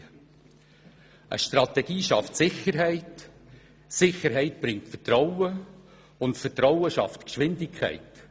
Eine Strategie schafft Sicherheit, Sicherheit bringt Vertrauen, und Vertrauen schafft Geschwindigkeit.